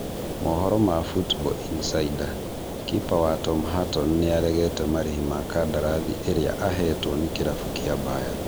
Mohoro ma Football Insider, kipa wa Tom Heaton nĩaregete marĩhi ma kandarathi ĩrĩa ahetwo nĩ kĩrabu kĩa Bayern